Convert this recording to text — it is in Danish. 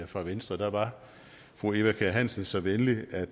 fra venstre var fru eva kjer hansen så venlig at